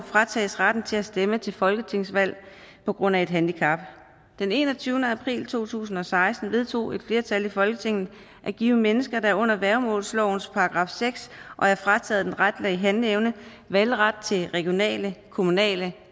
fratages retten til at stemme til folketingsvalg på grund af et handicap den enogtyvende april to tusind og seksten vedtog et flertal i folketinget at give mennesker der er under værgemålslovens § seks og er frataget den retlige handleevne valgret til regionale og kommunale